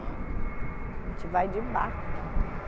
A gente vai de barco para Manaus.